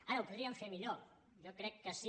ara ho podríem fer millor jo crec que sí